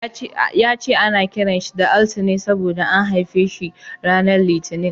Ya ce ana kiran sa da Altine saboda an haife shi ranar Litinin.